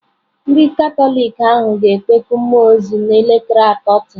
Ndị Katọlik ahụ ga-ekpeku mmụọ ozi n'elekere atọ taa.